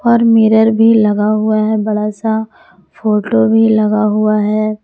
और मिरर भी लगा हुआ है बड़ा सा फोटो भी लगा हुआ है।